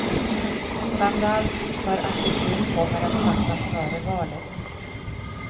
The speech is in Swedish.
Framför allt för att beslut kommer att fattas före valet.